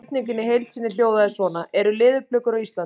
Spurningin í heild sinni hljóðaði svona: Eru leðurblökur á Íslandi?